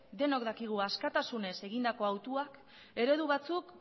denok dakigu askatasunez egindako hautuak eredu batzuk